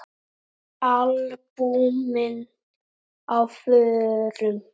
Albúmin á förum.